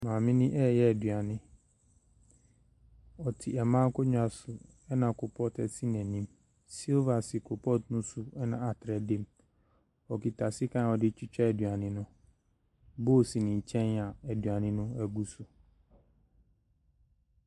Maame no ɛreyɛ eduane, ɔtse mmaa akonwa so, ɛna koropɔɔto asi n'anim. Silver si koropɔɔto no so, ɛna atereɛ da mu. Okita sekan a ɔde retwitwa eduane no. Bowl si ne nkyɛn a eduane no agu so.